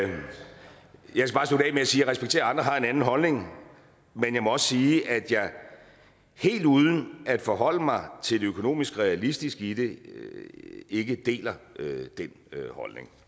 jeg respekterer at andre har en anden holdning men jeg må også sige at jeg helt uden at forholde mig til det økonomisk realistiske i det ikke deler den holdning